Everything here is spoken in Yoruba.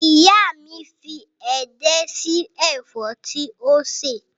Ìyá mi fi edé sí ẹ̀fọ́ tí ó sè